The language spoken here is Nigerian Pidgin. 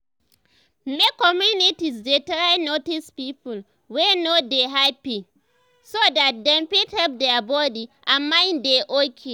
make communities dey try notice people wey no dey happy so dat dem fit help their body and mind dey okay